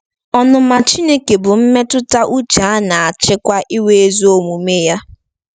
Ọnụma Chineke bụ mmetụta uche a na-achịkwa — iwe ezi omume ya.